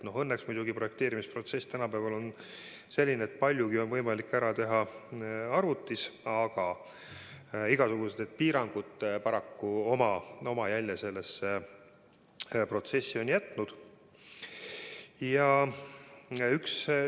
Õnneks muidugi on projekteerimisprotsess tänapäeval selline, et paljugi on võimalik ära teha arvutis, aga igasugused piirangud on paraku sellesse protsessi oma jälje jätnud.